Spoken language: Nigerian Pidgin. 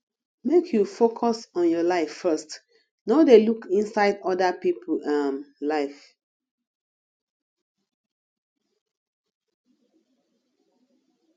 make you focus on your life first no dey look inside oda pipo um life